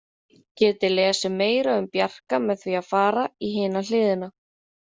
Þið getið lesið meira um Bjarka með því að fara í hina hliðina.